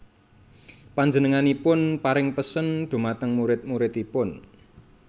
Panjenenganipun paring pesen dhumateng murid muridipun